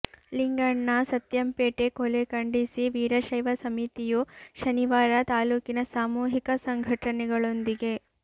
ಲಿಂಗಣ್ಣ ಸತ್ಯಂಪೇಟೆ ಕೊಲೆ ಖಂಡಿಸಿ ವೀರಶೈವ ಸಮಿತಿಯು ಶನಿವಾರ ತಾಲೂಕಿನ ಸಾಮೂಹಿಕ ಸಂಘಟನೆಗಳೊಂದಿಗೆ